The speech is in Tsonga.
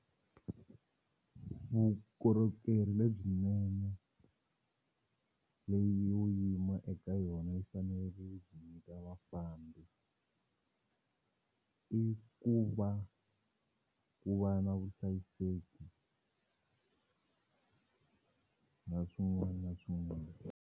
Vukorhokeri lebyinene leyi yo yima eka yona yi fanele yi nyika vafambi i ku va ku va na vuhlayiseki na swin'wani na swin'wani.